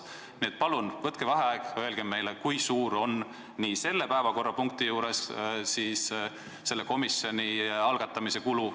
Nii et palun võtke vaheaeg ja öelge meile, kui suur on selle päevakorrapunkti juures arutatava komisjoni algatamise kulu.